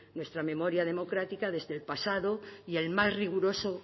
nuestra memoria democrática desde el pasado y el más riguroso